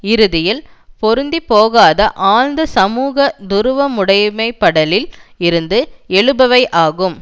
இறுதியில் பொருந்திப்போகாத ஆழ்ந்த சமூக துருவமுனைப்படலில் இருந்து எழுபவை ஆகும்